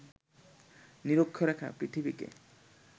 নিরক্ষরেখা পৃথিবীকে